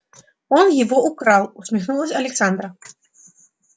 он его украл усмехнулась александра